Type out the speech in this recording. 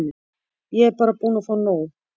Ég er bara búin að fá nóg.